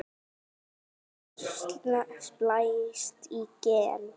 Hvað er splæst gen?